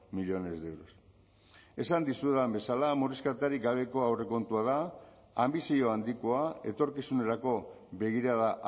millónes de euros esan dizuedan bezala murrizketarik gabeko aurrekontua da anbizio handikoa etorkizunerako begirada